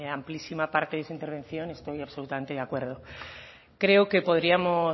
amplísima parte de su intervención estoy absolutamente de acuerdo creo que podríamos